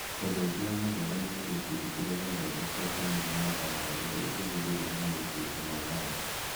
Ũndũ ũngĩ wa magegania nĩ gĩkundi kĩrĩa gĩathondekire tangi ya mbaara ĩrĩa ĩngĩhũthĩrũo maũndũ-inĩ ma thayũ